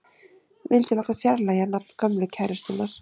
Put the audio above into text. Vildi láta fjarlægja nafn gömlu kærustunnar